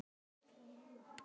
Standa jafnt í báða fætur.